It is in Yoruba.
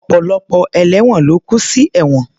Ọ̀pọ̀lọpọ̀ ẹlẹ́won ló kú sinú ẹ̀wọ̀n